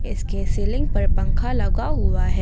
इसके सीलिंग पर पंखा लगा हुआ है।